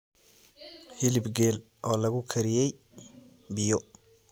hilib geel oo lagu kariyey biyo